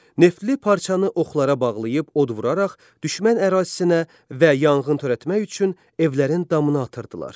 Neftli parçanı oxlara bağlayıb od vuraraq düşmən ərazisinə və yanğın törətmək üçün evlərin damına atırdılar.